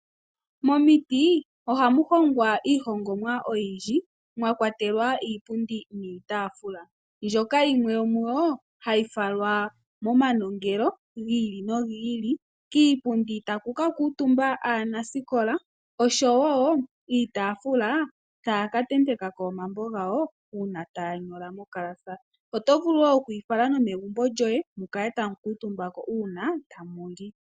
Momiti ohamu hongwa iihongomwa oyindji mwa kwatelwa iipundi niitaafula mbyoka yimwe yomu yo hayi falwa momanongelo gi ili nogi ili. Kiipundi taku ka kuutumba aanasikola oshowo iitaafula taya ka tenteka ko omambo gawo uuna taya nyola mongulu. Oto vulu wo okufala nomegumbo lyoye mu kale tamu kuutumba ko uuna tamu li.